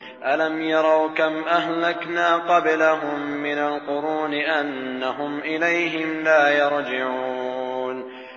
أَلَمْ يَرَوْا كَمْ أَهْلَكْنَا قَبْلَهُم مِّنَ الْقُرُونِ أَنَّهُمْ إِلَيْهِمْ لَا يَرْجِعُونَ